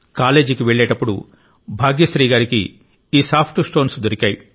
కాలేజీకి వెళ్ళేటప్పుడు భాగ్యశ్రీ గారికి ఈ సాఫ్ట్ స్టోన్స్ దొరికాయి